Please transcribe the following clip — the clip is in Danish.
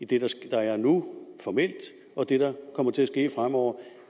det der sker nu formelt og det der kommer til at ske fremover